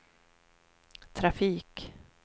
trafik